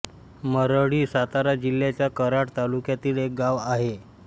मरळी सातारा जिल्ह्याच्या कराड तालुक्यातील एक गाव आहे